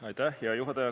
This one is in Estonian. Aitäh, hea juhataja!